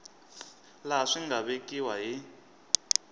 laha swi nga vekiwa hi